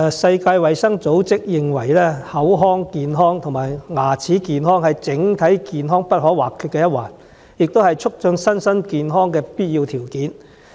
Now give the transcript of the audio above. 世界衞生組織認為，口腔健康和牙齒健康是整體健康不可或缺的一環，也是促進身心健康的必要條件。